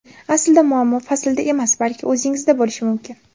Aslida, muammo faslda emas, balki o‘zingizda bo‘lishi mumkin.